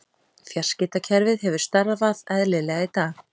Fjarskiptakerfið hefur starfað eðlilega í dag